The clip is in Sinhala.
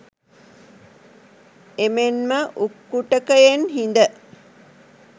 එමෙන්ම උක්කුටකයෙන් හිඳ